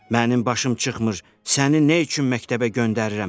Mənim başım çıxmır, səni nə üçün məktəbə göndərirəm, hə?